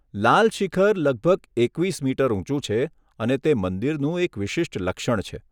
લાલ શિખર લગભગ એકવીસ મીટર ઊંચું છે અને તે મંદિરનું એક વિશિષ્ટ લક્ષણ છે.